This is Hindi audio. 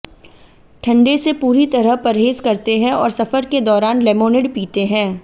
ठंडे से पूरी तरह परहेज करते हैं और सफर के दौरान लेमोनिड पीते हैं